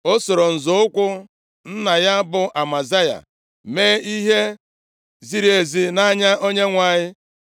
O soro nzọ ụkwụ nna ya bụ Amazaya mee ihe ziri ezi nʼanya Onyenwe anyị.